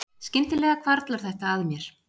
Skyndilega hvarflar þetta að mér